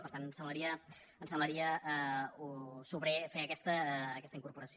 per tant ens semblaria sobrer fer aquesta incorporació